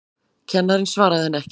Kennarinn svaraði henni ekki.